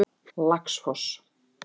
Laxfoss